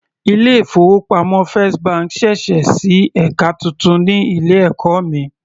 Ilé ìfowópamọ́ first bank sẹ̀sẹ̀ sí ẹka titun ní ilé ẹ̀kọ́ mi.